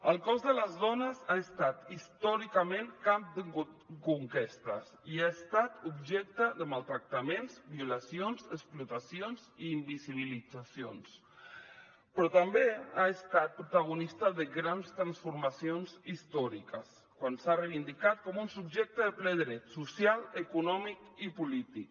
el cos de les dones ha estat històricament camp de conquestes i ha estat objecte de maltractaments violacions explotacions i invisibilitzacions però també ha estat protagonista de grans transformacions històriques quan s’ha reivindicat com un subjecte de ple dret social econòmic i polític